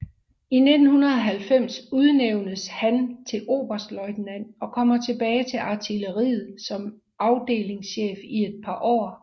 I 1990 udnævnes han til oberstløjtnant og kommer tilbage til artilleriet som afdelingschef i et par år